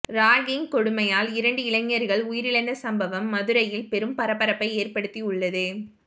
ragging கொடுமையால் இரண்டு இளைஞர்கள் உயிரிழந்த சம்பவம் மதுரையில் பெரும் பரபரப்பை ஏற்படுத்தி உள்ளது